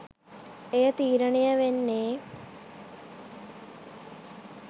එය තීරණය වෙන්නේ,